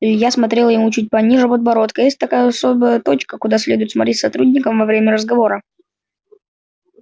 илья смотрел ему чуть пониже подбородка есть такая особая точка куда следует смотреть сотрудникам во время разговора